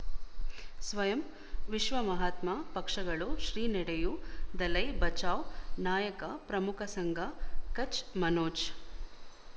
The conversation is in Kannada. ಸ್ವಯಂ ವಿಶ್ವ ಮಹಾತ್ಮ ಪಕ್ಷಗಳು ಶ್ರೀ ನಡೆಯೂ ದಲೈ ಬಚೌ ನಾಯಕ ಪ್ರಮುಖ ಸಂಘ ಕಚ್ ಮನೋಜ್